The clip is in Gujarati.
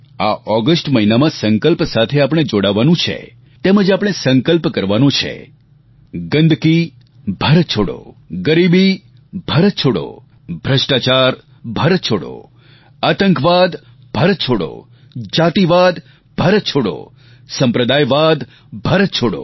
આ ઓગસ્ટ મહિનામાં સંકલ્પ સાથે આપણે જોડાવાનું છે તેમજ આપણે સંકલ્પ કરવાનો છે ગંદકી ભારત છોડો ગરીબીભારત છોડો ભ્રષ્ટાચાર ભારત છોડો આતંકવાદ ભારત છોડો જાતિવાદ ભારત છોડો સંપ્રદાયવાદ ભારત છોડો